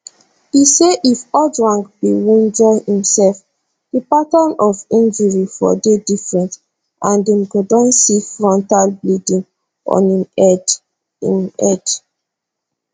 e say if ojwang bin wunjure imsef di pattern of injuries for dey different and dem go see frontal bleeding on im head im head